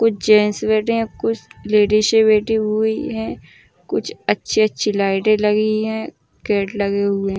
कुछ जेन्ट्स बैठे है कुछ लेडीज बैठी हुई है। कुछ अच्छी अच्छी लाइटें लगी है। गेट लगे हुए हैं।